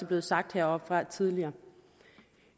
blevet sagt heroppefra tidligere